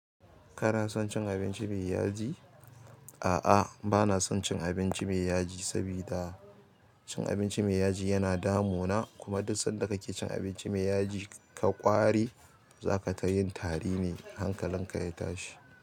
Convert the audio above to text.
Kana son cin abinci mai yaji? A'a bana son cin abinci mai yaji sabida cin abinci mai yaji yana damu na. Kuma duk sanda ka ke cin abinci mai yaji ka ƙwari. Zaka ta yin tari ne, hankalinka ya tashi.